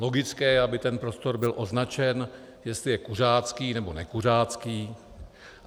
Logické je, aby ten prostor byl označen, jestli je kuřácký, nebo nekuřácký.